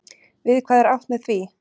Við hvað er átt með því?